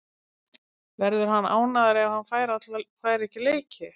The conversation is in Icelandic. Verður hann ánægður ef hann fær ekki leiki?